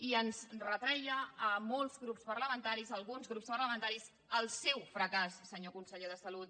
i ens retreia a molts grups parlamentaris a alguns grups parlamentaris el seu fracàs senyor conseller de salut